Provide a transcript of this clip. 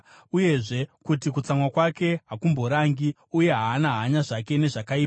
uyezve, kuti kutsamwa kwake hakumborangi, uye haana hanya zvake nezvakaipa.